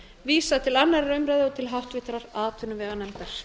vísað til annarrar umræðu og til háttvirtrar atvinnuveganefndar